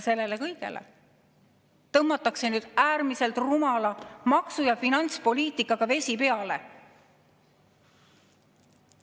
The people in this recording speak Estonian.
Sellele kõigele tõmmatakse äärmiselt rumala maksu‑ ja finantspoliitikaga vesi peale.